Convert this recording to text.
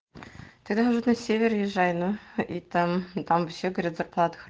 ты даже на севере езжай и там там вообще говорят